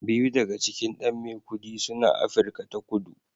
Biyu daga cikin ɗan Maikudi suna Afirka ta Kudu